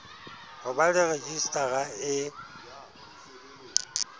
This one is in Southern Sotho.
ho ba le rejistara e